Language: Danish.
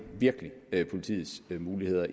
virkelig politiets muligheder